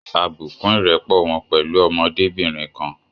A bù kún ìrẹ́pọ̀ wọn pẹ̀lú ọmọdébìnrin kan